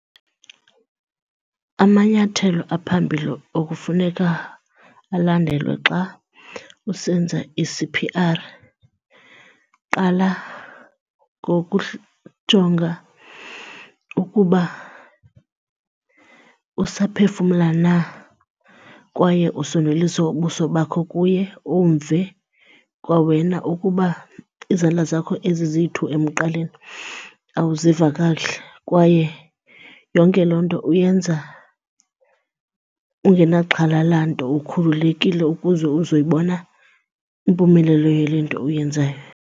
Amanyathelo aphambili okufuneka alandelwe xa usenza i-C_P_R, qala ngokujonga ukuba usaphefumla na kwaye usondelise ubuso bakho kuye umve kwawena ukuba izandla zakho ezi ziyi-two emqaleni awuziva kakuhle. Kwaye yonke loo nto uyenza ungenaxhala lanto ukhululekile ukuze uzoyibona impumelelo yale nto uyenzayo.